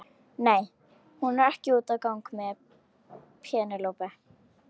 Nei, hún er ekki úti að gang með Penélope.